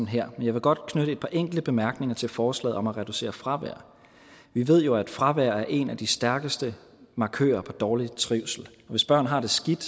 her men jeg vil godt knytte et par enkelte bemærkninger til forslaget om at reducere fravær vi ved jo at fravær er en af de stærkeste markører for dårlig trivsel hvis børn har det skidt